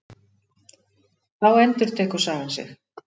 Þá endurtekur sagan sig.